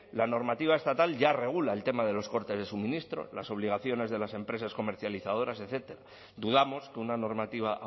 la normativa estatal ya regula el tema de los cortes de suministro las obligaciones de las empresas comercializadoras etcétera dudamos que una normativa